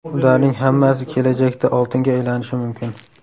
Ularning hammasi kelajakda oltinga aylanishi mumkin.